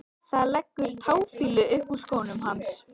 Það leggur táfýlu upp úr skónum hans.